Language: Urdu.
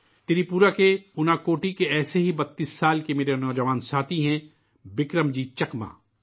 بکرم جیت چکما 32 سال کے ایسے ہی نوجوان ساتھی ہیں ، جو تری پورہ کے اناکوٹی کے رہنے والے ہیں